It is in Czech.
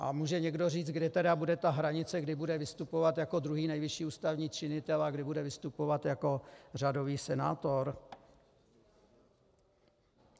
A může někdo říct, kdy tedy bude ta hranice, kdy bude vystupovat jako druhý nejvyšší ústavní činitel a kdy bude vystupovat jako řadový senátor?